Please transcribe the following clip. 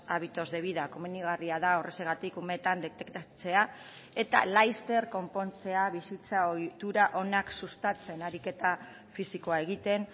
hábitos de vida komenigarria da horrexegatik umeetan detektatzea eta laster konpontzea bizitza ohitura onak sustatzen ariketa fisikoa egiten